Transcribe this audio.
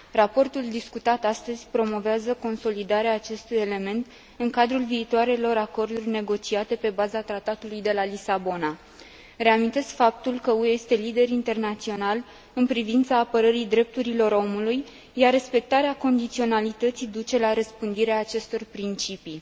Raportul discutat astăzi promovează consolidarea acestui element în cadrul viitoarelor acorduri negociate pe baza Tratatului de la Lisabona. Reamintesc faptul că UE este lider internațional în privința apărării drepturilor omului, iar respectarea condiționalității duce la răspândirea acestor principii.